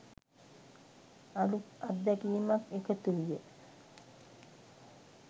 අලුත් අත්දැකීමක් එකතු විය